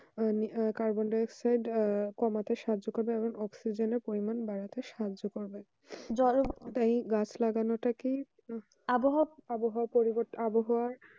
আহ carbon dioxide আহ কমাতে সাহায্য করবে এবং অক্সসিজেন পরিমান বাড়াতে সাহায্য করবে জলের গাছ লাগানো কি আবহাওয়া পরিবর্তন আবহাওয়া